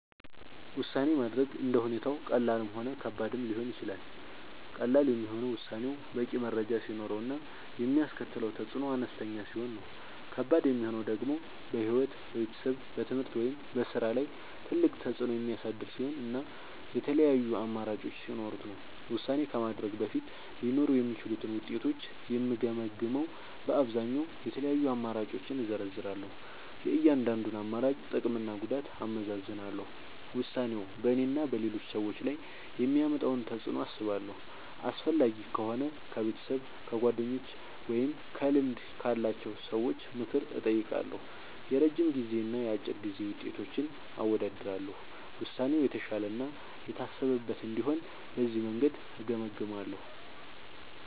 ውሳኔ ማድረግ እንደ ሁኔታው ቀላልም ሆነ ከባድም ሊሆን ይችላል። ቀላል የሚሆነው ውሳኔው በቂ መረጃ ሲኖረው እና የሚያስከትለው ተፅዕኖ አነስተኛ ሲሆን ነው። ከባድ የሚሆነው ደግሞ በሕይወት፣ በቤተሰብ፣ በትምህርት ወይም በሥራ ላይ ትልቅ ተፅዕኖ የሚያሳድር ሲሆን እና የተለያዩ አማራጮች ሲኖሩት ነው። ውሳኔ ከማድረግ በፊት ሊኖሩ የሚችሉትን ውጤቶች የምገመግመዉ በአብዛኛዉ፦ የተለያዩ አማራጮችን እዘረዝራለሁ። የእያንዳንዱን አማራጭ ጥቅምና ጉዳት አመዛዝናለሁ። ውሳኔው በእኔና በሌሎች ሰዎች ላይ የሚያመጣውን ተፅዕኖ አስባለሁ። አስፈላጊ ከሆነ ከቤተሰብ፣ ከጓደኞች ወይም ከልምድ ያላቸው ሰዎች ምክር እጠይቃለሁ። የረጅም ጊዜና የአጭር ጊዜ ውጤቶችን አወዳድራለሁ። ውሳኔው የተሻለ እና የታሰበበት እንዲሆን በዚህ መንገድ እገመግማለሁ።